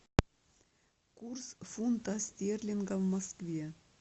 курс фунта стерлинга в москве